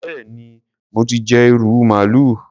Béèni mo ti jẹ ìrù màálù.